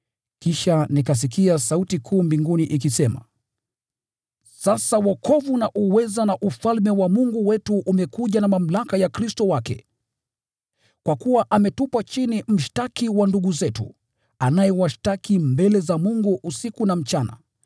Kisha nikasikia sauti kuu mbinguni, ikisema: “Sasa wokovu na uweza na Ufalme wa Mungu wetu umekuja na mamlaka ya Kristo wake. Kwa kuwa ametupwa chini mshtaki wa ndugu zetu, anayewashtaki mbele za Mungu usiku na mchana.